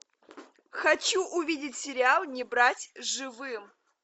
хочу увидеть сериал не брать живым